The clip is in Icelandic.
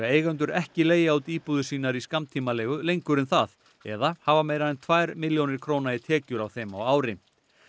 eigendur ekki leigja út íbúðir sínar í skammtímaleigu lengur en það eða hafa meira en tvær milljónir króna í tekjur af þeim á ári